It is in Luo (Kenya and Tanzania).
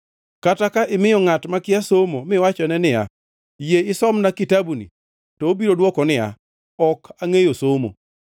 Kata ka imiyo ngʼat makia somo miwachone niya, “Yie isomna kitabuni,” to obiro dwoko niya, “Ok angʼeyo somo.”